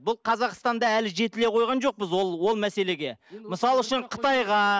бұл қазақстанда әлі жетіле қойған жоқпыз ол ол мәселеге мысалы үшін қытайға